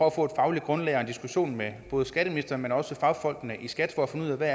at få et fagligt grundlag og en diskussion med både skatteministeren og med fagfolkene i skat for at finde ud af hvad